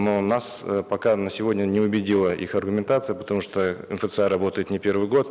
но нас э пока на сегодня не убедила их аргументация потому что мфца работает не первый год